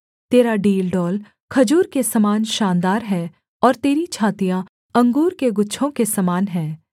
तेरा डीलडौल खजूर के समान शानदार है और तेरी छातियाँ अंगूर के गुच्छों के समान हैं